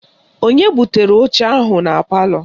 Onye butere oche ahụ na palọ?